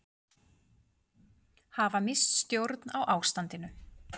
Hafa misst stjórn á ástandinu